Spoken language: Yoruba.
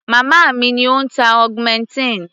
Màmá mi ni ó ń tá augmentin.